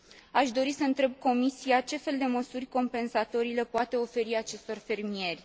Aș dori să întreb Comisia ce fel de măsuri compensatorii le poate oferi acestor fermieri?